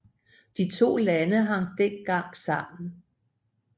De to lande hang dengang sammen